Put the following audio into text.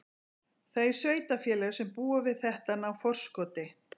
Þau sveitarfélög sem búa við þetta ná forskoti.